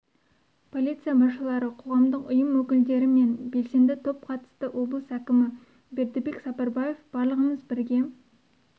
полиция басшылары қоғамдық ұйым өкілдері мен белсенді топ қатысты облыс әкімі бердібек сапарбаев барлығымыз бірге